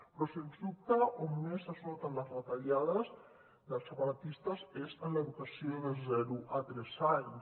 però sens dubte on més es noten les retallades dels separatistes és en l’educació de zero a tres anys